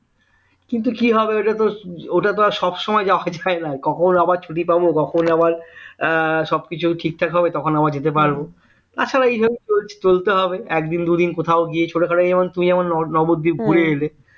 কিন্তু কি হবে ওটা তো ওটা তো আর সব সময় যাওয়া হয়না কখন আবার ছুটি পাব কখন আবার সবকিছু ঠিকঠাক হবে তখন আবার যেতে পারবো আচ্ছা এই ভাবেই চলতে হবে একদিন দুদিন কোথাও গিয়ে ছোটখাটো তুমি যেমন নবদ্বীপ ঘুরে এলে